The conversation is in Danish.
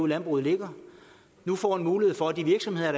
landbruget ligger nu får en mulighed for at de virksomheder